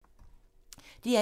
DR1